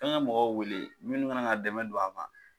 Me n ka mɔgɔw wele minnu ka na ka dɛmɛ don a ma